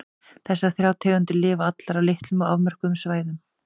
Þessar þrjár tegundir lifa allar á litlum og afmörkuðum svæðum.